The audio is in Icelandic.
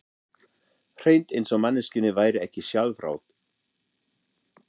Hreint eins og manneskjunni væri ekki sjálfrátt.